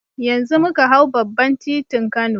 Yanzu muka hau babban titin kano